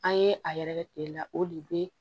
An ye a yɛrɛkɛ kile la o de be